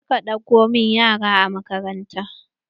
Je ka ɗauko min yaran a makaranta!